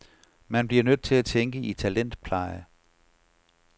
Man bliver nødt til at tænke i talentpleje.